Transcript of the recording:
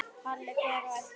Palli fer á eftir henni.